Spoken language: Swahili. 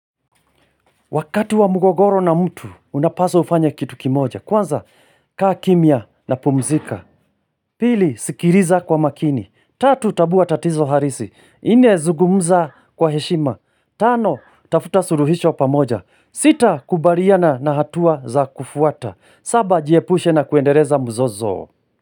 Wakati wa mugogoro na mtu, unapaswa ufanye kitu kimoja. Kwanza, kaa kimya na pumzika. Pili, sikiriza kwa makini. Tatu, tabuwa tatizo harisi. Nne zugumza kwa heshima. Tano, tafuta suruhisho pamoja. Sita, kubariana na hatua za kufuata. Saba, jiepushe na kuendereza mzozo.